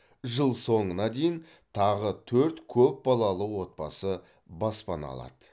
жыл соңына дейін тағы төрт көп балалы отбасы баспана алады